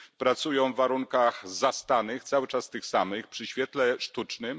Pracują w warunkach zastanych, cały czas tych samych, przy świetle sztucznym.